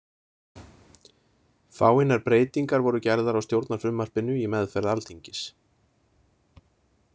Fáeinar breytingar voru gerðar á stjórnarfrumvarpinu í meðferð Alþingis.